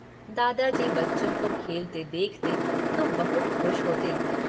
दादाजी बच्चों को खेलते देखते तो बहुत खुश होते।